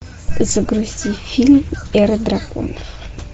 загрузи фильм эра драконов